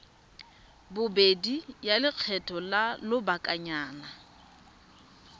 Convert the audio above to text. bobedi ya lekgetho la lobakanyana